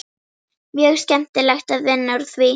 Mjög skemmtilegt að vinna úr því.